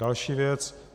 Další věc.